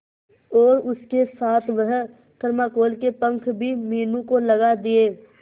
और उसके साथ वह थर्माकोल के पंख भी मीनू को लगा दिए